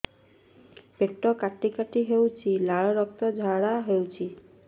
ପେଟ କାଟି କାଟି ହେଉଛି ଲାଳ ରକ୍ତ ଝାଡା ହେଉଛି